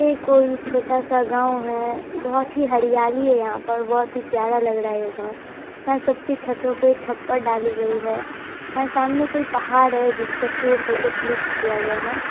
ये कोई छोटा सा गांव है बहुत ही हरियाली है यहां पर बहुत ही प्यारा लग रहा है ये गांव यहां सबके छतो में छप्पर डाली गयी हैं। यहां सामने कोई पहाड़ है जिस पे से फोटो क्लिक किया गया है।